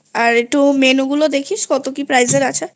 আর একটু Menu গুলো দেখিস কত কি price এর আছেI